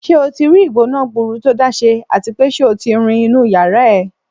Ṣé o tí rí ìgbóná-gburu tó dáa ṣe à ti pé ṣé o ti rin inú ìyárá ẹ?